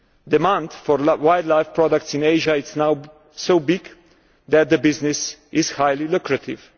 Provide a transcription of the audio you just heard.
Demand for wildlife products in Asia is now so big that the business is highly lucrative.